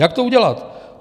Jak to udělat?